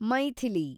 Maithili